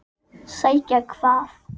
En hvar er þessi vél?